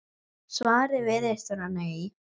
Svarið virðist vera nei.